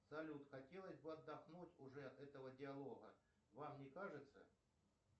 салют хотелось бы отдохнуть уже от этого диалога вам не кажется